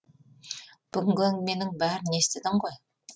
бүгінгі әңгіменің бәрін естідің ғой